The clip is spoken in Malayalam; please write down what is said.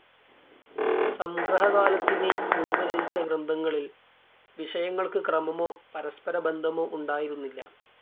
സംഗ്രഹകാലത്തിന് മുൻപ് രചിച്ച ഗ്രന്ഥങ്ങളിൽ വിഷയങ്ങൾക്ക് ക്രമമോ, പരസ്പര ബന്ധമോ ഉണ്ടായിരുന്നില്ല.